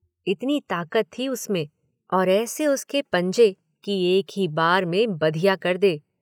इतनी ताकत थी उसमें और ऐसे उसके पंजे कि एक ही बार में बधिया कर दे।